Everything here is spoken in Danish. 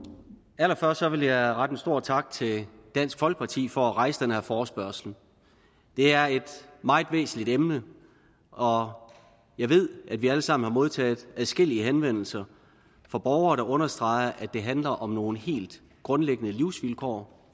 allerførst vil jeg rette en stor tak til dansk folkeparti for at rejse den her forespørgsel det er et meget væsentligt emne og jeg ved at vi alle sammen har modtaget adskillige henvendelser fra borgere der understreger at det handler om nogle helt grundlæggende livsvilkår